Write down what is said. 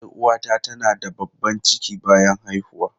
Yar uwata tana da babban ciki bayan haihuwa.